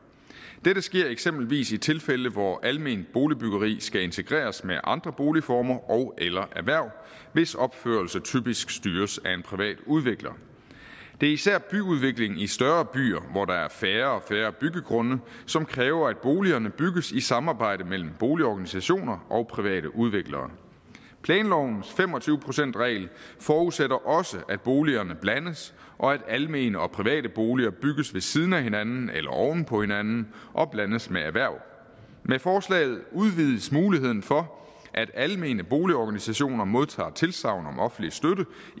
dette sker eksempelvis i tilfælde hvor alment boligbyggeri skal integreres med andre boligformer ogeller erhverv hvis opførelse typisk styres af en privat udvikler det er især byudviklingen i større byer hvor der er færre og færre byggegrunde som kræver at boligerne bygges i et samarbejde mellem boligorganisationer og private udviklere planlovens fem og tyve procentsregel forudsætter også at boligerne blandes og at almene og private boliger bygges ved siden af hinanden eller oven på hinanden og blandes med erhverv med forslaget udvides muligheden for at almene boligorganisationer modtager et tilsagn om offentlig støtte